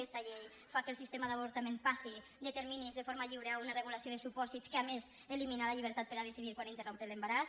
aquesta llei fa que el sistema d’avortament passi de terminis de forma lliure a una regulació de supòsits que a més elimina la llibertat per a decidir quan interrompre l’embaràs